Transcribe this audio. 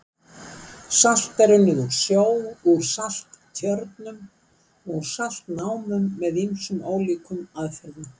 Salt er unnið úr sjó, úr salttjörnum og úr saltnámum með ýmsum ólíkum aðferðum.